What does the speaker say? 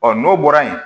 n'o bɔra yen